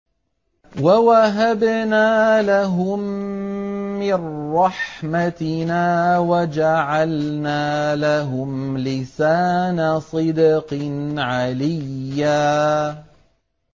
وَوَهَبْنَا لَهُم مِّن رَّحْمَتِنَا وَجَعَلْنَا لَهُمْ لِسَانَ صِدْقٍ عَلِيًّا